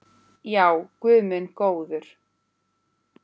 Já, guð minn góður.